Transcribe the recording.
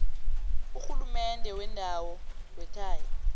urhulumende wendawo wekhaya